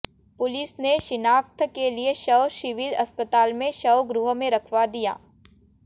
police ने शिनाख्त के लिए शव सिविल अस्पताल के शव गृह में रखवा दिया